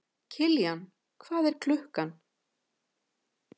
Kiljan, hvað er klukkan?